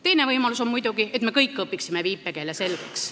Teine võimalus on muidugi, et me kõik õpiksime viipekeele selgeks.